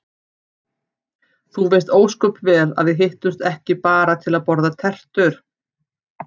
Þú veist ósköp vel að við hittumst ekki bara til að borða tertur.